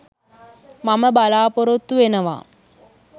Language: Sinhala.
මම බලාපොරොත්තු වෙනවා.